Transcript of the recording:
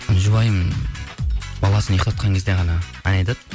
жұбайым баласын ұйықтатқан кезде ғана ән айтады